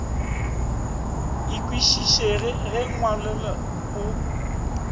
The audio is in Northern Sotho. e kwešišege e ngwalolle o